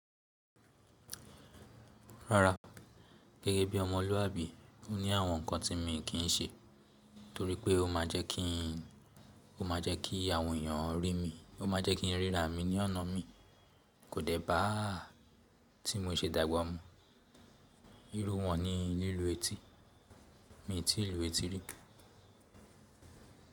Rara, gẹ́gẹ́ bí ọmọlúwàbí, mo ní àwọn nǹkan tí mo kì í ṣe torí pé ó máa jẹ́ kí àwọn èèyàn rí mi, ó máa jẹ́ kí ríra mi ní ọ̀nà mi. Kò dẹ́ bá tí mo se dàgbà mú, irú wọn ni lílu etí, mi tii lu etí rí.